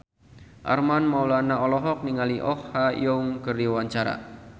Armand Maulana olohok ningali Oh Ha Young keur diwawancara